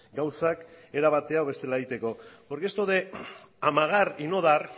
gauzak era batean edo bestela egiteko porque esto de amagar y no dar